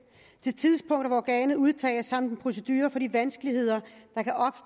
det tidspunkt hvor organet udtages samt en procedure for de vanskeligheder